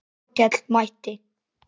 Þórkell mælti